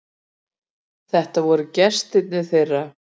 Þetta voru gestirnir þeirra.